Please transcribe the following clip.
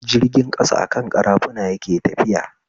Jirgin ƙasa akan ƙarafuna yake tafiya